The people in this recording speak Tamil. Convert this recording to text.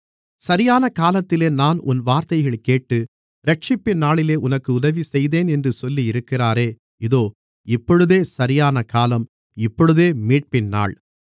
சரியான காலத்திலே நான் உன் வார்த்தையைக் கேட்டு இரட்சிப்பின் நாளிலே உனக்கு உதவிசெய்தேன் என்று சொல்லியிருக்கிறாரே இதோ இப்பொழுதே சரியான காலம் இப்பொழுதே மீட்பின் நாள்